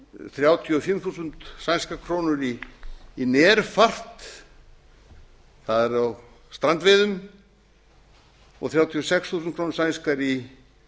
þrjátíu og fimm þúsund sænskar krónur í närfart það er á strandveiðum og þrjátíu og sex þúsund krónur sænskar í